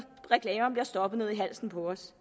reklamerne bliver stoppet ned i halsen på os